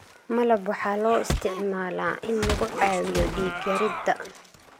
malab waxaa loo isticmaalaa in lagu caawiyo dhiig-yarida.